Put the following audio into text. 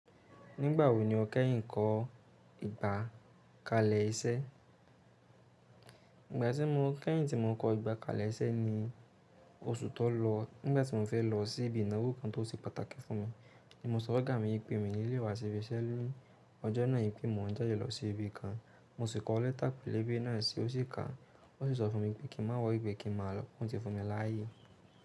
Nígbàwọ̀ ní ọ̀ kẹ́yìn kọ ìgbà kalẹ ìṣẹ? Ìgbà tí mo kẹ́yìn tí mo kọ ìgbà kalẹ ìṣẹ ni oṣù tó lọ nígbà tí mo fẹ́ lọ sí ibi ìnáwó kan tó ti pàtàkì fún mi. Mọ̀ ma fun ogá mi ipé mi ní lé wa ṣi ibi iṣẹ́ ni ọjọ́ náà, ípé mo n jálè lọ sí ibi kan. Mo sì kọ lẹ́tà pẹ̀lebe na si, o si ka. Ó sì sọ fún mi pé kí n má worry ipẹ̀ kí n má lọ, ó ti fún mi láàyè.